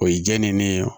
O ye jɛ ni ne ye